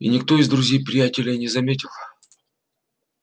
и никто из друзей-приятелей не заметил